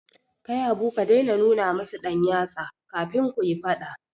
Kai Habu ka dai na nuna musu ɗan yatsa, kafin kuyi faɗa